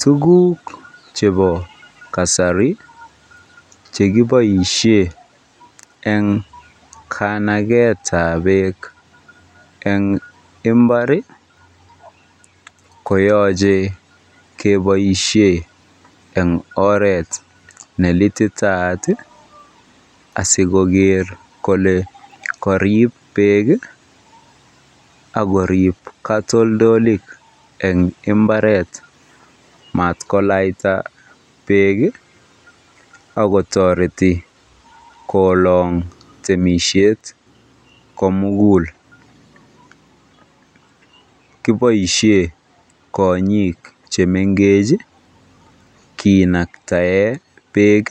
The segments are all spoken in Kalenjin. Tuguk chebo kasari chekiboisie eng kanaketab beek eng imbar konyolu keboisie eng oret nelititaat asikoker kole kariib beek akorib katoltolik eng imbaret matkolaita beek akotoreti koolong temisiet komugul. Kiboisie konyiik chemengech kinaktae beek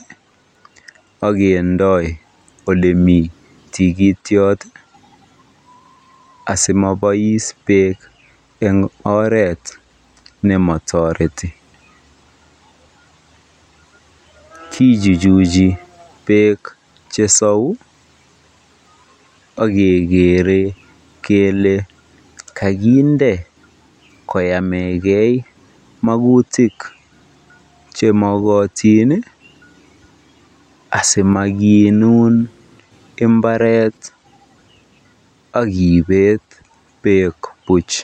asimabois beek eng oret nematoreti. Kijujuji beek chesau akekere kele kakinde koyamekei magutik chemokootin asimakinuun mbaret akibeet beek buch.